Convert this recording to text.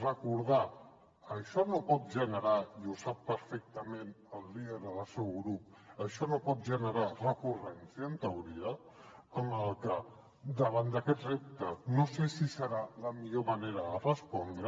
recordar això no pot generar i ho sap perfectament el líder del seu grup recurrència en teoria amb el que davant d’aquest repte no sé si serà la millor manera de respondre